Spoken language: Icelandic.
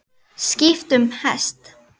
Skipt um hest.